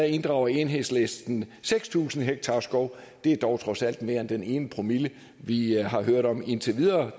inddrager enhedslisten seks tusind ha skov det er dog trods alt mere end den ene promille vi har hørt om indtil videre